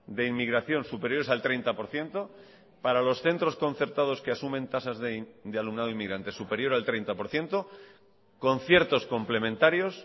de inmigración superiores al treinta por ciento para los centros concertados que asumen tasas de alumnado inmigrante superior al treinta por ciento conciertos complementarios